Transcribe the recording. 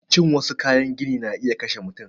Cin wassu kayan gini na iya kashe mutum